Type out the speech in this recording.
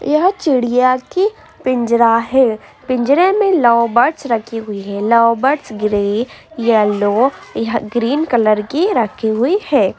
यह चिड़िया की पिंजरा है पिंजरे में लव बर्ड्स रखी हुई है लव बर्ड्स ग्रे येलो या ग्रीन कलर की रखी हुई है।